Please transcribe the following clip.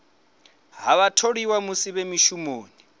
ha vhatholiwa musi vhe mushumoni